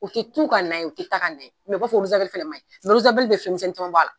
U tɛ tu ka na ye u tɛ ta ka na ye u b'a fɔ fɛnɛ maɲi bɛ misɛnnin jaman b'a la.